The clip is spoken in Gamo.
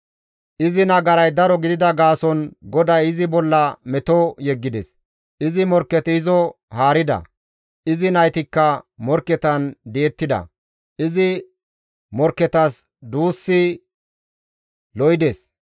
Izi nagaray daro gidida gaason GODAY izi bolla meto yeggides; izi morkketi izo haarida; izi naytikka morkketan di7ettida; izi morkketas duussi lo7ides.